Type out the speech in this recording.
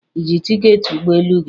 Ị ji tiketi ụgbọ elu gị?